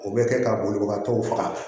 O bɛ kɛ ka bolibagatɔw faga